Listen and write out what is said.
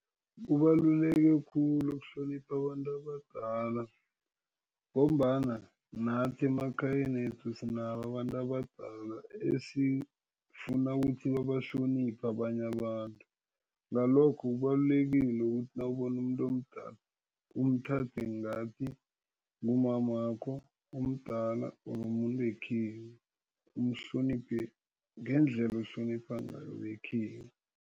Kubaluleke khulu ukuhlonipha abantu abadala ngombana nathi emakhayeni wethu sinabo abantu abadala esifuna ukuthi babahloniphe abanye abantu. Ngalokho kubalulekile ukuthi nawubona umuntu omdala umthathe ngathi ngumamakho omdala or mumuntu wekhenu. Umhloniphe ngendlela ohlonipha ngayo bekhenu.